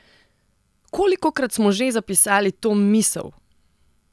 Kolikokrat smo že zapisali to misel!